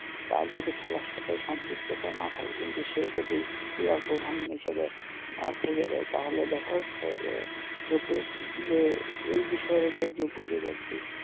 তার যদি খেলার সাথে সম্প্রিক্ততা না থাকে কিন্তু সে যদি ক্রীড়ার প্রধান হিসাবে থেকে যায় তাহলে দেখা যাচ্ছে যে যোগ্য যে এই বিষয়ের ওপর যোগ্য যে বেক্তি,